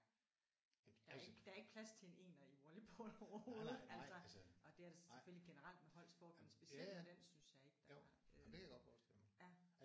Der er ikke der er ikke plads til en ener i volleyball overhovedet altså og det er det selvfølgelig generelt med holdsport men specielt i den synes jeg ikke der var